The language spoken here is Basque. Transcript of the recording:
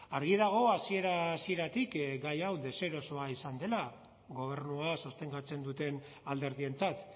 argi dago hasiera hasieratik gai hau deserosoa izan dela gobernua sostengatzen duten alderdientzat